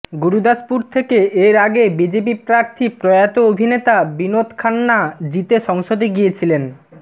গুরুদাসপুর থেকে এর আগে বিজেপি প্রার্থী প্রয়াত অভিনেতা বিনোদ খান্না জিতে সংসদে গিয়েছিলেন